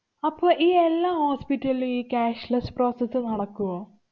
അപ്പോ ഈ എല്ലാ hospital ലും ഈ cashless process നടക്കുവോ?